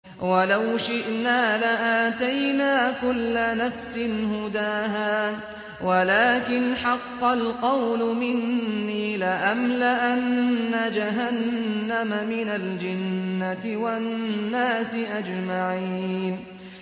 وَلَوْ شِئْنَا لَآتَيْنَا كُلَّ نَفْسٍ هُدَاهَا وَلَٰكِنْ حَقَّ الْقَوْلُ مِنِّي لَأَمْلَأَنَّ جَهَنَّمَ مِنَ الْجِنَّةِ وَالنَّاسِ أَجْمَعِينَ